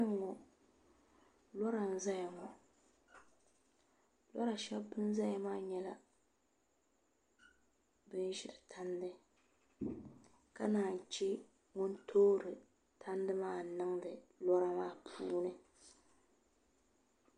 Kpɛŋŋo lora n ʒɛya ŋo lora shab bin ʒɛya maa nyɛla bin ʒiri tandi ka naan chɛ ŋun toori tandi maa niŋdi yino maa puuni